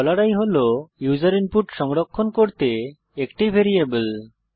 i হল user input সংরক্ষণ করতে একটি ভ্যারিয়েবল